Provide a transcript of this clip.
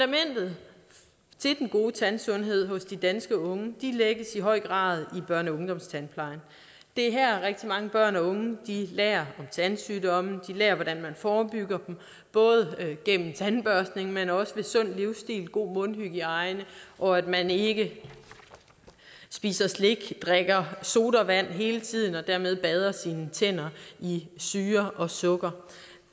gode tandsundhed hos de danske unge lægges i høj grad i børne og ungdomstandplejen det er her rigtig mange børn og unge lærer om tandsygdomme de lærer hvordan man forebygger dem både gennem tandbørstning men også gennem sund livsstil god mundhygiejne og at man ikke spiser slik drikker sodavand hele tiden og dermed bader sine tænder i syre og sukker